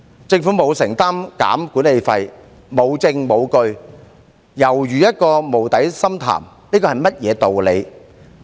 政府沒有承擔削減管理費、沒證沒據，尤如一個無底深潭，這是甚麼道理？